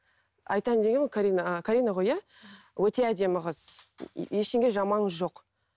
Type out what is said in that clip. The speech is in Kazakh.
айтайын дегенім карина карина ғой иә өте әдемі қыз ештеңе жаманы жоқ